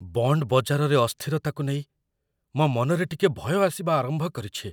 Bond ବଜାରରେ ଅସ୍ଥିରତାକୁ ନେଇ ମୋ' ମନରେ ଟିକେ ଭୟ ଆସିବା ଆରମ୍ଭ କରିଛି।